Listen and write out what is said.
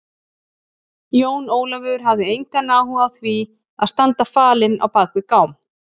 Jón Ólafur hafði engan áhuga á því að standa falinn á bak við gám.